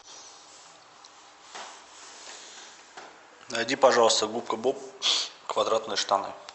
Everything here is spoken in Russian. найди пожалуйста губка боб квадратные штаны